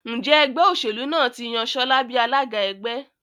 Njé Ẹgbẹ́ òṣèlú náà tí yàn Shola bí alága ẹgbẹ́?